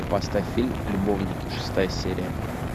поставь фильм любовники шестая серия